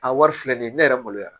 A wari filɛ nin ye ne yɛrɛ maloya